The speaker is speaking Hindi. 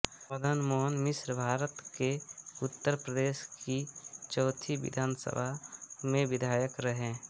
मदन मोहन मिश्रभारत के उत्तर प्रदेश की चौथी विधानसभा सभा में विधायक रहे